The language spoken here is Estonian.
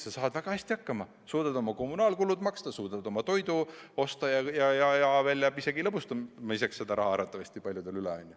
Sa saad ikka väga hästi hakkama, suudad oma kommunaalkulud maksta, suudad oma toidu osta ja jääb isegi lõbutsemiseks raha arvatavasti paljudel üle.